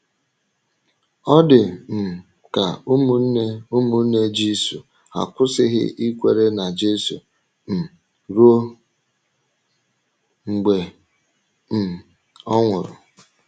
Ọ dị um ka ụmụnne ụmụnne Jisù akwụsịghị ịkwèrè n’Jisù um ruo mgbe um ọ nwụrụ.